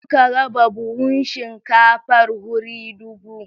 Suka raba buhun shinkafar wuri dubu.